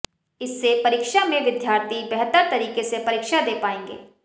इससे परीक्षा में विद्यार्थी बेहतर तरीके से परीक्षा दे पाएंगे